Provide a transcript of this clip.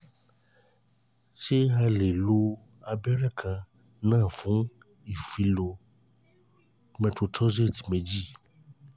ṣé a lè lo lo abẹ́rẹ́ kan náà fún ìfilọ methotrexate méjì?